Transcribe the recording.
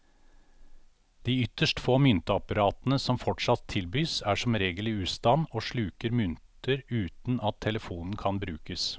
De ytterst få myntapparatene som fortsatt tilbys, er som regel i ustand og sluker mynter uten at telefonen kan brukes.